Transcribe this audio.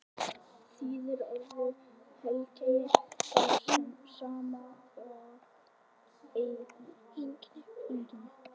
þýðir orðið heilkenni það sama og einkenni